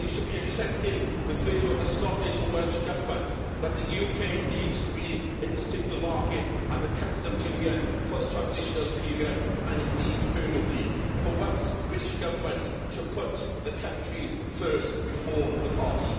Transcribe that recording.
They should be accepting the view of the Scottish and Welsh Governments that the UK needs to be in the single market and the customs union for the transitional period, and indeed permanently. For once, the British Government should put the country first, before the party.